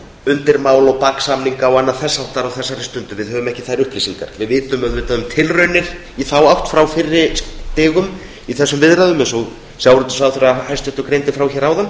undirmál og baksamninga og annað þess háttar á þessari stundu við höfum ekki þær upplýsingar við vitum um tilraunir í þá átt frá fyrri stigum í þessum viðræðum eins og hæstvirtur sjávarútvegsráðherra greindi frá hér áðan